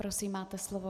Prosím, máte slovo.